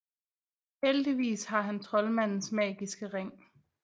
Heldigvis har han troldmandens magiske ring